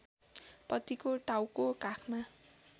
पतिको टाउको काखमा